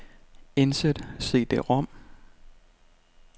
Indsæt cd-rom.